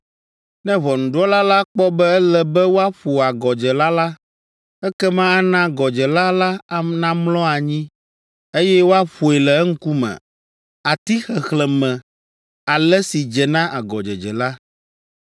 Ne ʋɔnudrɔ̃la la kpɔ be ele be woaƒo agɔdzela la, ekema ana agɔdzela la namlɔ anyi, eye woaƒoe le eŋkume ati xexlẽme ale si dze na agɔdzedze la.